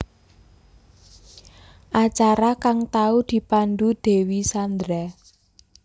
Acara kang tau dipandhu Dewi Sandra